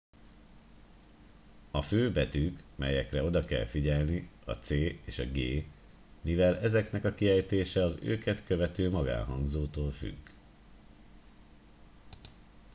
a fő betűk melyekre oda kell figyelni a c és a g mivel ezeknek a kiejtése az őket követő magánhangzótól függ